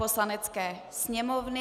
Poslanecké sněmovny